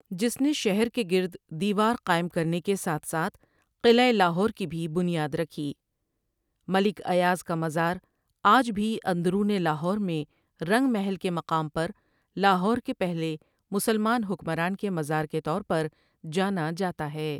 جس نے شہر کے گرد دیوار قائم کرنے کے ساتھ ساتھ قلعہ لاہور کی بھی بنیاد رکھی ملک ایاز کا مزار آج بھی اندرون لاہور میں رنگ محل کے مقام پر لاہور کے پہلے مسلمان حکمران کے مزار کے طور پر جانا جاتا ہے ۔